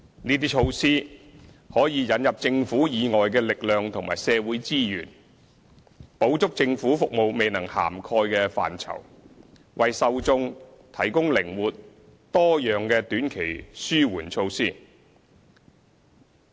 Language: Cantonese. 這些措施可以引入政府以外的力量和社會資源，補足政府服務未能涵蓋的範疇，為受眾提供靈活、多樣的短期紓緩措施。